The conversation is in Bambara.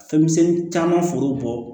Fɛn misɛnnin caman foro bɔ